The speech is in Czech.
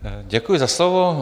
Děkuji za slovo.